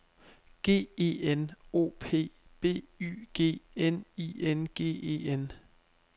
G E N O P B Y G N I N G E N